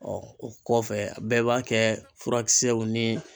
o kɔfɛ bɛɛ b'a kɛ furakisɛw ni